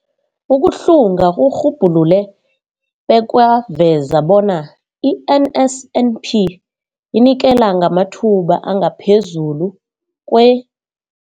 Ukuhlunga kurhubhulule bekwaveza bona i-NSNP inikela ngamathuba angaphezulu kwe-